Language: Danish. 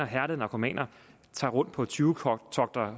hærdede narkomaner tager rundt på tyvetogter